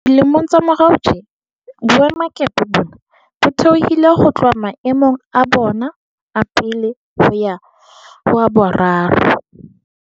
Dilemong tsa morao tjena, boemakepe bona bo theohile ho tloha maemong a bona a pele ho ya ho a boraro